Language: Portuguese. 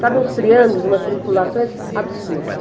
Sabe, uns triângulos, umas trinculações absurdas.